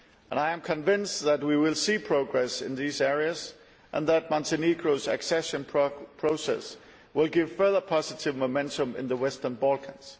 I am convinced that we will see progress in these areas and that Montenegro's accession process will provide further positive momentum in the Western Balkans.